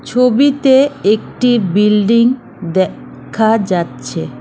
ছবিতে একটি বিল্ডিং দেখা যাচ্ছে।